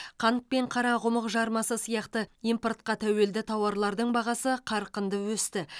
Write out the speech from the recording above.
қант пен қарақұмық жармасы сияқты импортқа тәуелді тауарлардың бағасы қарқынды өсті